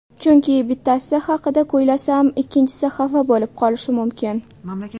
Chunki, bittasi haqida kuylasam ikkinchisi xafa bo‘lib qolishi mumkin.